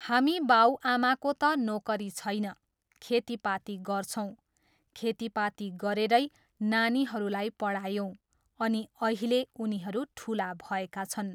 हामी बाउआमाको त नोकरी छैन, खेतीपाती गर्छौँ, खेतीपाती गरेरै नानीहरूलाई पढायौँ अनि अहिले उनीहरू ठुला भएका छन्।